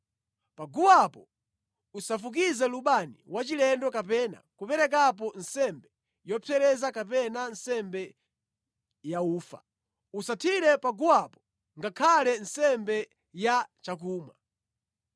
Pa guwapo usafukize lubani wachilendo kapena kuperekapo nsembe yopsereza kapena nsembe yaufa. Usathire pa guwapo ngakhale nsembe yachakumwa.